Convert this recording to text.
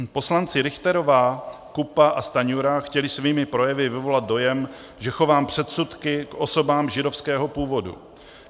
Poslanci Richterová, Kupka a Stanjura chtěli svými projevy vyvolat dojem, že chovám předsudky k osobám židovského původu.